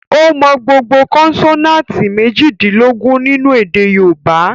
Ó mọ gbogbo kọ́nsọ́náátì mèjìdínlógún nínu èdè yóòbá